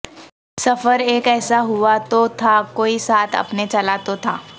سفر ایک ایسا ہوا تو تھا کوئی ساتھ اپنے چلا تو تھا